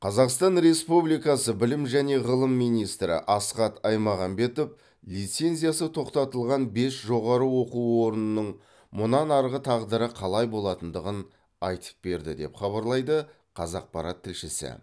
қазақстан республикасы білім және ғылым министрі асхат аймағамбетов лицензиясы тоқтатылған бес жоғары оқу орнының мұнан арғы тағдыры қалай болатындығын айтып берді деп хабарлайды қазақпарат тілшісі